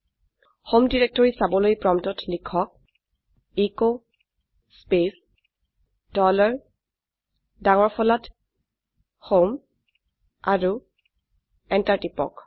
home directory চাবলৈ প্ৰম্পটত লিখকecho স্পেচ ডলাৰ ডাঙৰ ফলাত হোম আৰু এন্টাৰ টিপক